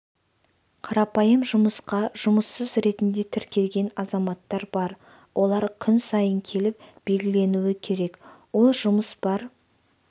қарапайым жұмысқа жұмыссыз ретінде тіркелген азаматтар бар олар күн сайын келіп белгіленуі керек ол жұмыс бар